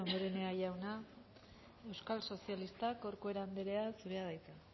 damborenea jauna euskal sozialistak corcuera andrea zurea da hitza